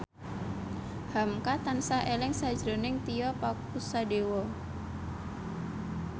hamka tansah eling sakjroning Tio Pakusadewo